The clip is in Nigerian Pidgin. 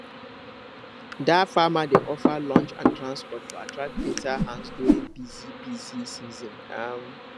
dat farmer dey offer lunch and transport to attract better hands during busy busy season um